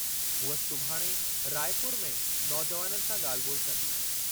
हूअ सुभाणे रायपुर में नौजुवाननि सां ॻाल्हि ॿोलि कंदी।